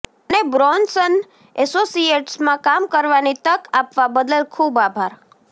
મને બ્રોન્સન એસોસિએટ્સમાં કામ કરવાની તક આપવા બદલ ખૂબ આભાર